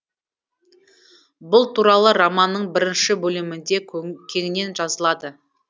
бұл туралы романның бірінші бөлімінде кеңінен жазылады